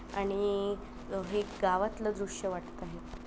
आणि ह-वी एक गावतल दृश्य वाटतं आहे.